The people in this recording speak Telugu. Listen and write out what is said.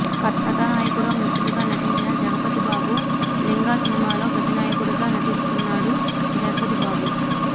కథానాయకుడిలో మిత్రుడిగా నటించిన జగపతి బాబు లింగా సినిమాలో ప్రతినాయకుడిగా నటిస్తున్నాడు జగపతి బాబు